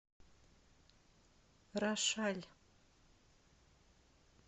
рошаль